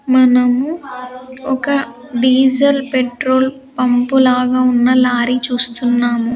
మనము ఒక diesel petrol pump లాగా ఉన్న లారీ చూస్తున్నాము.